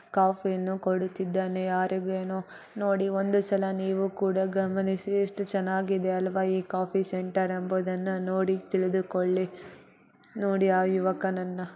Coffee ಅನ್ನು ಕೊಡುತೀದಾನೆ ಯಾರಿಗೂ ಏನೋ ನೋಡಿ ಒಂದು ಸಲ ನೀವು ಕೂಡ ಗಮನಿಸಿ ಎಷ್ಟು ಚೆನ್ನಾಗಿದೆ ಅಲ್ವಾ ಈ ಕಾಫಿ ಸೆಂಟರ್ ಎಂಬುದನ್ನನ ನೋಡಿ ತಿಳಿದು ಕೊಳ್ಳಿ ನೋಡಿ ಆ ಯುವಕನನ್ನ .